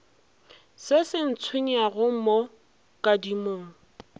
se se ntshwenyago mo kadimong